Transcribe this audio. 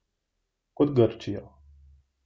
Kot Grčijo.